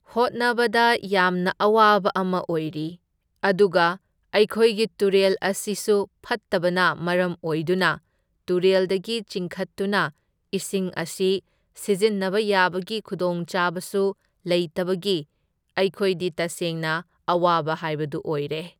ꯍꯣꯠꯅꯕꯗ ꯌꯥꯝꯅ ꯑꯋꯥꯕ ꯑꯃ ꯑꯣꯏꯔꯤ, ꯑꯗꯨꯒ ꯑꯩꯈꯣꯏꯒꯤ ꯇꯨꯔꯦꯜ ꯑꯁꯤꯁꯨ ꯐꯠꯇꯕꯅ ꯃꯔꯝ ꯑꯣꯏꯗꯨꯅ ꯇꯨꯔꯦꯜꯗꯒꯤ ꯆꯤꯡꯈꯠꯇꯨꯅ ꯏꯁꯤꯡ ꯑꯁꯤ ꯁꯤꯖꯤꯟꯅꯕ ꯌꯥꯕꯒꯤ ꯈꯨꯗꯣꯡꯆꯥꯕꯁꯨ ꯂꯩꯇꯕꯒꯤ ꯑꯩꯈꯣꯏꯗꯤ ꯇꯁꯦꯡꯅ ꯑꯋꯥꯕ ꯍꯥꯢꯕꯗꯨ ꯑꯣꯢꯔꯦ꯫